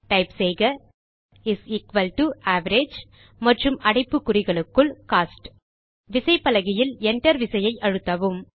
type செய்கis equal to average மற்றும் அடைப்புக்குறிகளுக்குள் கோஸ்ட் விசைப்பலகையில் Enter விசையை அழுத்தவும்